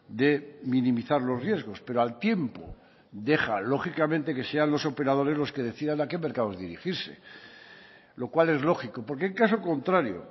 de minimizar los riesgos pero al tiempo deja lógicamente que sean los operadores los que decidan a qué mercados dirigirse lo cual es lógico porque en caso contrario